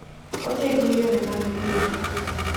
Otego yore mag thieth.